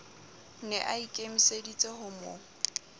ne a ikemiseditse ho mo